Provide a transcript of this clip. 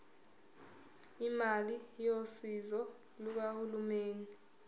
imali yosizo lukahulumeni